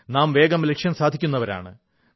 നാം വേഗം ലക്ഷ്യം സാധിക്കുന്നവരാണ്